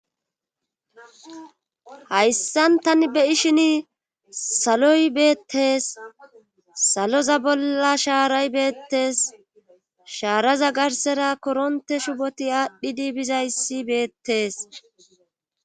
Hayssan tani beyishini saloy beettes saloza bolla shaaray beettes shaaraza garsera koronte shuboti aadhdhidi bizayssi beettees.